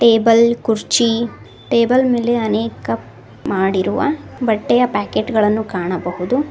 Table ಕುರ್ಚಿ table ಮೇಲೆ ಅನೇಕ ಮಾಡಿರುವ ಬಟ್ಟೆಯ ಪ್ಯಾಕೆಟ್ ಗಳನ್ನು ಕಾಣಬಹುದು.